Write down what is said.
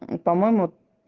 по-моему